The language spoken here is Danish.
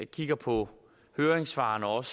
kigger på høringssvarene og